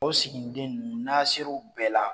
O siginin den nunnu n'a serow bɛɛ la.